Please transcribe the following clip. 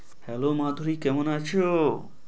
hello. Madhuri কেমন আছো?